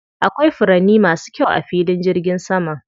Akwai furanni masu kyau a filin jirgin saman.